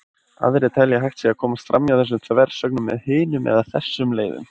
Aðrir telja að hægt sé að komast framhjá þessum þversögnum með hinum eða þessum leiðum.